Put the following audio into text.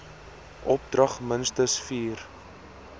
opdrag minstens vier